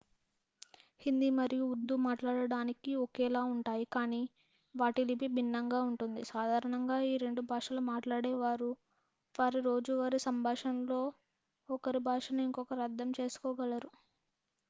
హిందీ మరియు ఉర్దూ మాట్లాడటానికి ఒకేలా ఉంటాయి కాని వాటి లిపి భిన్నంగా ఉంటుంది సాధారణంగా ఈ రెండు భాషలు మాట్లాడేవారు వారి రోజూవారి సంభాషణలో ఒకరి భాషను ఇంకొకరు అర్ధం చేసుకోగలరు